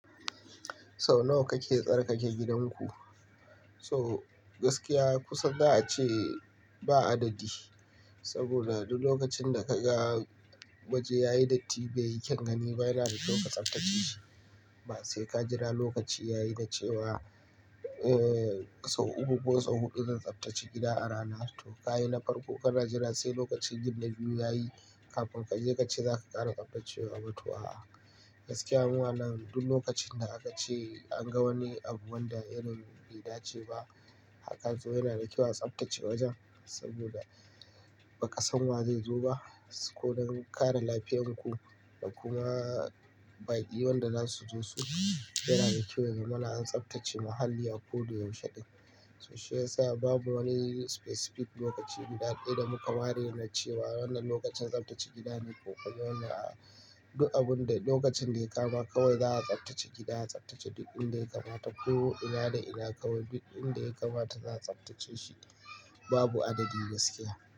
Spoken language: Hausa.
Sau nawa kake tsarkake gidanku? To gaskiya kusa za a ce ba adadi. Saboda duk lokacin da ka ga waje yayi datti bai yi kyau gani ba yana da tsabtacce shi. Ba sai ka jira lokaci yayi da cewa, eh sau uku ko sau huɗu zan tsaftace gida a rana har to ka yi na farko ka na jira sai lokacin yin na biyu yayi kafin ka je ka ce za ka ƙara tsaftacewa ba to a'a. Gaskiya muna nan duk lokacin da aka ce an ga wani abu wanda yanayin bai dace ba haka to yana da kyau a tsaftace wajen saboda ba ƙasan wa zai zo ba. Don kare lafiyarku da kuma baƙi wanda za su zo su yana da kyau wa gama an tsaftace muhalli a ko da yaushe. To shiyasa babu wani specific lokaci guda ɗaya da muka ware na ce wa wannan lokacin tsaftace gida ne ko kuma wannan a duk abun da lokacin da ya kama kawai za a tsaftace gida, a tsaftace duk inda ya kamata. Ko ina da ina kawai duk inda ya kamata za a tsaftace shi. Babu adadi gaskiya.